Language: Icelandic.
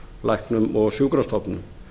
læknum og sjúkrastofnunum